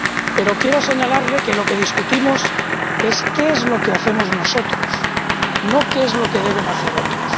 Pero quiero señalarle que lo que debatimos es qué es lo que hacemos nosotros, no qué es lo que deben hacer otros.